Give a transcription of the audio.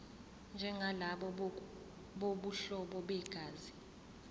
njengalabo bobuhlobo begazi